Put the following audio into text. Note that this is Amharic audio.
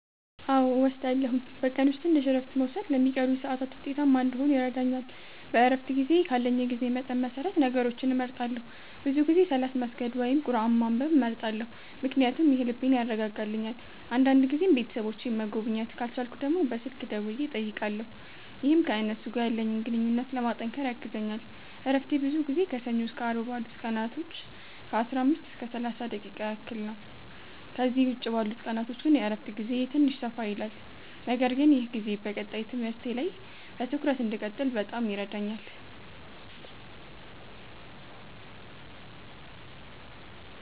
አዎ እወስዳለሁኝ፤ በቀን ውስጥ ትንሽ እረፍት መውሰድ ለሚቀሩኝ ሰዓታት ውጤታማ እንዲሆን ይረዳኛል። በእረፍት ጊዜዬ ካለኝ የጊዜ መጠን መሰረት ነገሮችን እመርጣለሁ፤ ብዙ ጊዜ ሰላት መስገድ ወይም ቁርአን ማንበብ እመርጣለሁ ምክንያቱም ይህ ልቤን ያረጋጋልኛል። አንዳንድ ጊዜም ቤተሰቦቼን መጎብኘት ካልቻልኩ ደግሞ በስልክ ደውዬ እጠይቃለሁ፣ ይህም ከእነሱ ጋር ያለኝን ግንኙነት ለማጠናከር ያግዘኛል። እረፍቴ ብዙ ጊዜ ከሰኞ እስከ አርብ ባሉት ቀናቶች ከ15 እስከ 30 ደቂቃ ያህል ነው፤ ከእነዚህ ውጭ ባሉት ቀናቶች ግን የእረፍት ጊዜዬ ትንሽ ሰፋ ይላል። ነገር ግን ይህ ጊዜ በቀጣይ ትምህርቴ ላይ በትኩረት እንድቀጥል በጣም ይረዳኛል።